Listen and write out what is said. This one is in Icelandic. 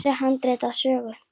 Hér er handrit að sögu.